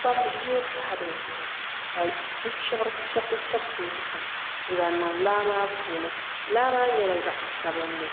kpa ʒiɛ pahi dizuɣu ka bi chubisi chɛbisi zaham n zaŋ niŋ laa maa puuni laa maa nyɛla zaɣ sabinli